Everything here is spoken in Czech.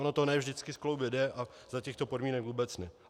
Ono to ne vždycky skloubit jde a za těchto podmínek vůbec ne.